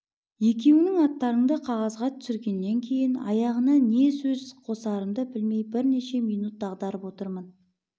екеуіңнің аттарыңды қағазға түсіргеннен кейін аяғына не сөз қосарымды білмей бірнеше минут дағдарып отырмын